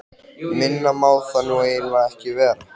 Minna má það nú eiginlega ekki vera.